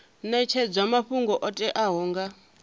netshedzwa mafhungo o teaho nga